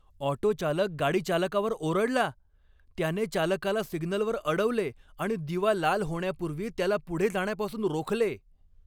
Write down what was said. Auto चालक गाडी चालकावर ओरडला, त्याने चालकाला सिग्नलवर अडवले आणि दिवा लाल होण्यापूर्वी त्याला पुढे जाण्यापासून रोखले.